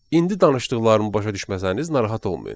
İndi danışdıqlarımı başa düşməsəniz narahat olmayın.